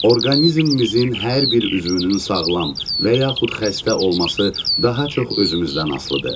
Orqanizmimizin hər bir üzvünün sağlam və yaxud xəstə olması daha çox özümüzdən asılıdır.